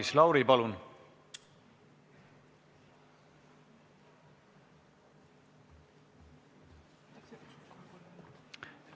Maris Lauri, palun!